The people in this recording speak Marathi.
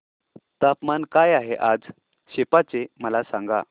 तापमान काय आहे आज सेप्पा चे मला सांगा